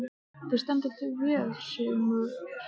Þú stendur þig vel, Sigurmundur!